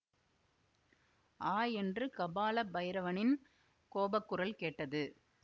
ஆ என்று கபால பைரவனின் கோபக்குரல் கேட்டது